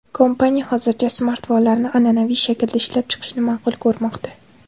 Kompaniya hozircha smartfonlarni an’anaviy shaklda ishlab chiqishni ma’qul ko‘rmoqda.